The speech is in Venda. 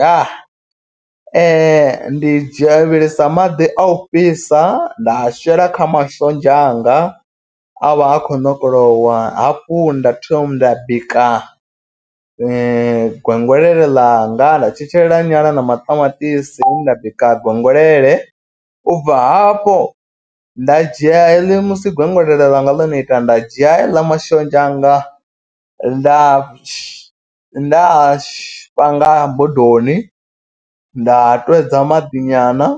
Ya ndi dzhia vhilisa maḓi a u fhisa nda a shela kha mashonzha anga a vha a kho ṋokolowa. Hafhu nda thoma nda bika gwengwelele ḽanga nda tshetshelela nyala na maṱamaṱisi nda bika gwengwelele. Ubva hafho nda dzhia heḽi musi gwengwele langa ḽone ita nda dzhia heiḽa mashonzha anga nda nda panga bodoni nda twedza maḓi nyana.